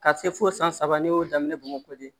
Ka se fo san saba ne y'o daminɛ bamakɔ de